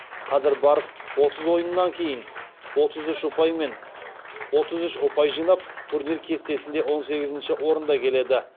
қазір барыс отыз ойыннан кейін отыз үш ұпай жинап турнир кестесінде он сегізінші орында келеді